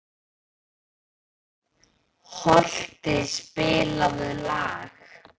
Holti, spilaðu lag.